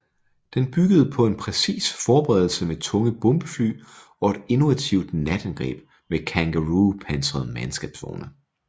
Den byggede på en præcis forberedelse med tunge bombefly og et innovativt natangreb med Kangaroo pansrede mandskabsvogne